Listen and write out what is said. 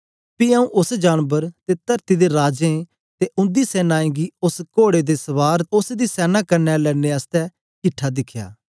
पी आऊँ उस्स जानबर ते तरती दे राजें ते उंदी सेनाएं गी उस्स कोड़े दे सवार ते उस्स दी सैना कन्ने लड़ने आसतै किट्ठे दिखया